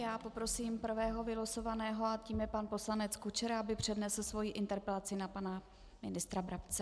Já poprosím prvého vylosovaného a tím je pan poslanec Kučera, aby přednesl svoji interpelaci na pana ministra Brabce.